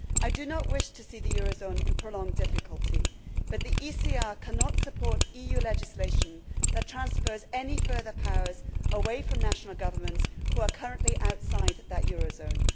I do not wish to see the euro zone in prolonged difficulty, but the ECR cannot support EU legislation that transfers any further powers away from national governments who are currently outside of that euro zone.